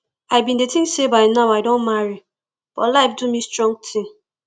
i bin dey think say by now i don marry but life do me strong thing